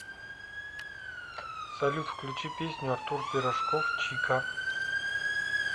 салют включи песню артур пирожков чика